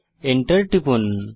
Enter টিপুন